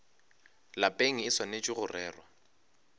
lapeng e swanetše go rerwa